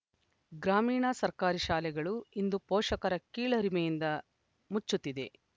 ಗ್ರಾಮೀಣ ಸರ್ಕಾರಿ ಶಾಲೆಗಳು ಇಂದು ಪೋಷಕರ ಕೀಳರಿಮೆಯಿಂದ ಮುಚ್ಚುತ್ತಿದೆ